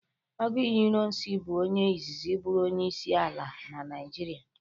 Agụiyi Irọnsi bụ onye izizi bụrụ onyeisi ala na Naịjirịa.